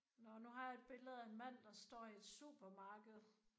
Nåh nu har jeg et billede af en mand der står i et supermarked